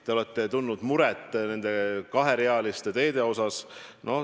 Te olete tundnud muret kaherealiste teede pärast.